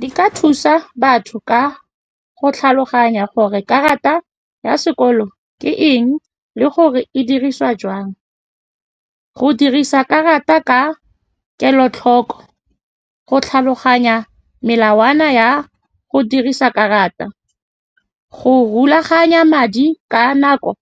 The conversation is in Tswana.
Di ka thusa batho ka go tlhaloganya gore karata ya sekolo ke eng le gore e dirisiwa jang. Go dirisa karata ka kelotlhoko, go tlhaloganya melawana ya go dirisa karata, go rulaganya madi ka nako